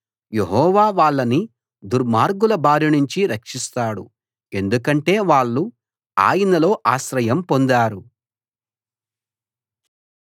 యెహోవా వాళ్ళని దుర్మార్గుల బారినుంచి రక్షిస్తాడు ఎందుకంటే వాళ్ళు ఆయనలో ఆశ్రయం పొందారు